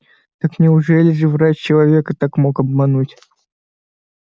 так неужели же врач человека так мог обмануть